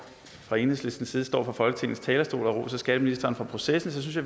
fra enhedslistens side står på folketingets talerstol og roser skatteministeren for processen